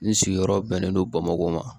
N sigiyɔrɔ bɛnnen don bamakɔ ma